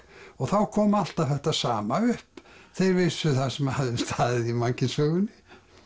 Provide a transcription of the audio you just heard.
og þá kom alltaf þetta sama upp þeir vissu það sem hafði staðið í mannkynssögunni